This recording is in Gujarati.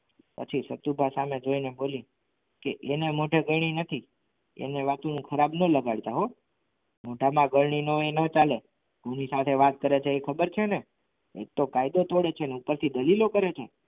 પછી સતુભા સામે જોઈને બોલી કે એને મોઢે ગણી નથી એના વાક્યનું ખરાબ ન લગાડતા હો મોઢામાં ગરણી ના હોય એ ના ચાલે કોની સાથે વાત કરે છે એ ખબર છે ને એક તો કાયદો તોડે છે અને ઉપરથી દલીલો કરે છે.